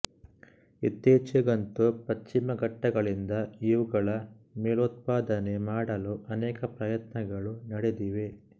ಇತ್ತೀಚೆಗಂತೂ ಪಶ್ಚಿಮಘಟ್ಟಗಳಿಂದ ಇವುಗಳ ಮೂಲೋತ್ಪಾದನೆ ಮಾಡಲು ಅನೇಕ ಪ್ರಯತ್ನಗಳು ನಡೆದಿವೆ